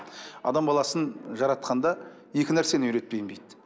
адам баласын жаратқанда екі нәрсені үйретпеймін дейді